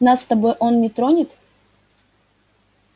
нас с тобой он не тронет